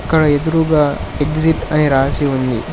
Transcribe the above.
ఇక్కడ ఎదురుగా ఎగ్జిట్ అయి రాసి ఉంది.